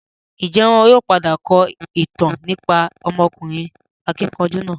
Ń jẹ́ wọn ó padà kọ ìtàn nípa ọmọkùnrin akíkanjú náà?